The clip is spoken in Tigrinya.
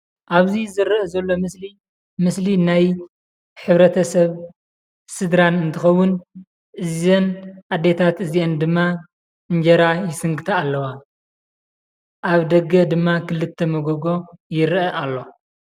ኣብዚ ዝረአ ዘሎ ምስሊ፡ ምስሊ ናይ ሕብረተሰብ ስድራን እንትኸውን እዘን ኣዴታት እዚአን ድማ እንጀራ ይስንከታ ኣለዋ፡፡ ኣብ ደገ ድማ ክልተ መጎጎ ይረአ ኣሎ፡፡